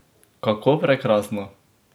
Kako prekrasno!